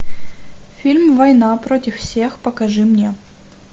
фильм война против всех покажи мне